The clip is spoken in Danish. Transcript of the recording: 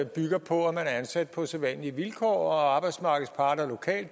bygger på at man er ansat på sædvanlige vilkår og arbejdsmarkedsparter